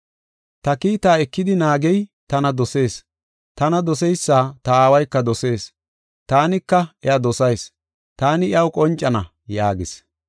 “Ta kiitaa ekidi naagey tana dosees. Tana doseysa ta Aawayka dosees; taanika iya dosayis; taani iyaw qoncana” yaagis.